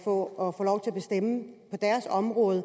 på deres område